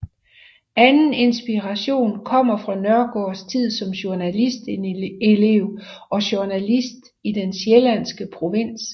Anden inspiration kommer fra Nørgaards tid som journalistelev og journalist i den sjællandske provins